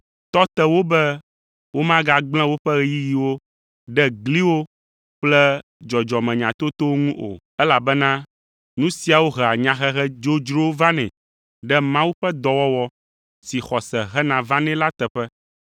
tɔ te wo be womagagblẽ woƒe ɣeyiɣiwo ɖe gliwo kple dzɔdzɔmenyatotowo ŋu o, elabena nu siawo hea nyahehe dzodzrowo vanɛ ɖe Mawu ƒe dɔwɔwɔ si xɔse hena vanɛ la teƒe.